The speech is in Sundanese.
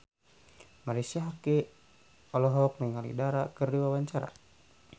Marisa Haque olohok ningali Dara keur diwawancara